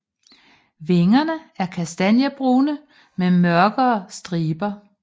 Vingerne er kastanjebrune med mørkere striber